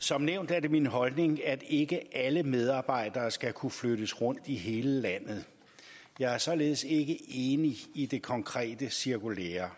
som nævnt er det min holdning at ikke alle medarbejdere skal kunne flyttes rundt i hele landet jeg er således ikke enig i det konkrete cirkulære